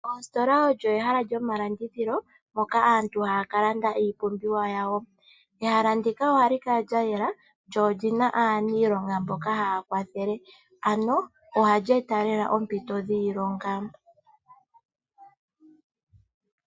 Oositola olyo ehala lyomalandithilo mpoka aantu haya ka landa iipumbiwa yawo. Ehala ndika ohali kala layela lyo olina aanilonga mboka haya kwathele ano ohali eta lela oompito dhiilonga.